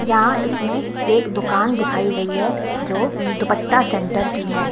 यहां इसमें एक दुकान दिखाई गई है जो दुपट्टा सेंटर की है।